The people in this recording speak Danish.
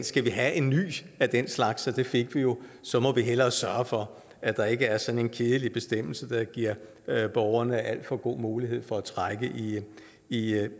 skal have en ny af den slags og det fik vi jo så må vi hellere sørge for at der ikke er sådan en kedelig bestemmelse der giver borgerne alt for god mulighed for at trække i